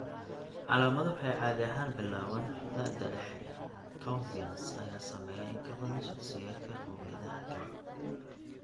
Calaamaduhu waxay caadi ahaan bilaabaan da'da dhexe; Caucasians ayaa saameeya in ka badan shakhsiyaadka qowmiyadaha kale.